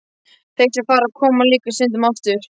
Þeir sem fara koma líka stundum aftur.